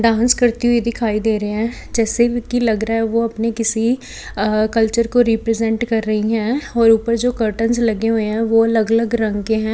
Dance करती हुई दिखाई दे रहे हैं जैसे की लग रहा है वो अपने किसी कल्चर को रिप्रेजेंट कर रही है और ऊपर जो कर्टनस् लगे हुए हैं वह अलग अलग रंग के हैं।